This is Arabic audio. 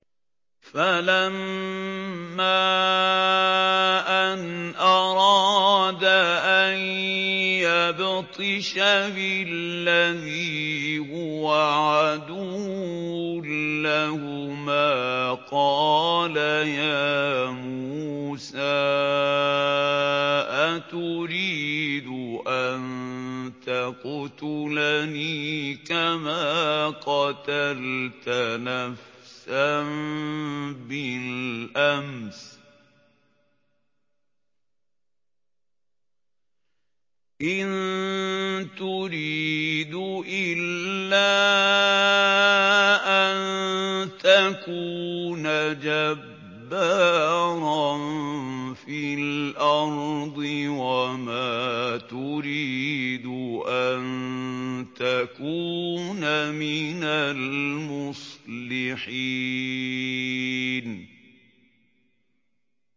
فَلَمَّا أَنْ أَرَادَ أَن يَبْطِشَ بِالَّذِي هُوَ عَدُوٌّ لَّهُمَا قَالَ يَا مُوسَىٰ أَتُرِيدُ أَن تَقْتُلَنِي كَمَا قَتَلْتَ نَفْسًا بِالْأَمْسِ ۖ إِن تُرِيدُ إِلَّا أَن تَكُونَ جَبَّارًا فِي الْأَرْضِ وَمَا تُرِيدُ أَن تَكُونَ مِنَ الْمُصْلِحِينَ